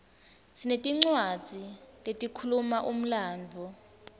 sinetincwadzi letikhuluma umlandvo